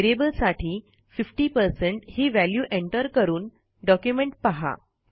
variable साठी 50 ही value enter करून डॉक्युमेंट पहा